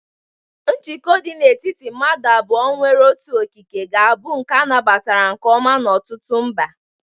Njikọ dị n'etiti madu abuo nwere otu okike ga-abụ nke a nabatara nke ọma n'ọtụtụ mba.